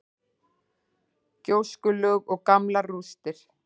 Gjóskulög og gamlar rústir.